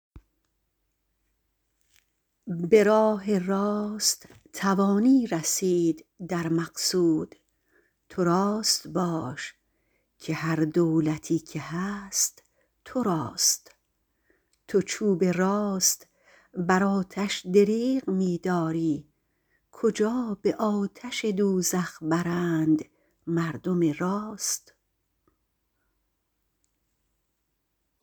به راه راست توانی رسید در مقصود تو راست باش که هر دولتی که هست تو راست تو چوب راست بر آتش دریغ می داری کجا به آتش دوزخ برند مردم راست